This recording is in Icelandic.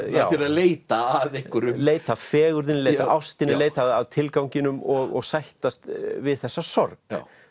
leita að einhverju leita að fegurðinni ástinni leita að tilganginum og sættast við þessa sorg